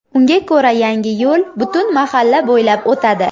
Unga ko‘ra, yangi yo‘l butun mahalla bo‘ylab o‘tadi.